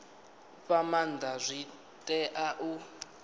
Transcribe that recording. fha maanda zwi tea u